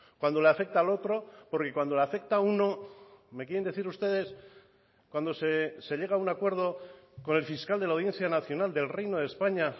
cuando le afecta al otro porque cuando le afecta a uno me quieren decir ustedes cuando se llega a un acuerdo con el fiscal de la audiencia nacional del reino de españa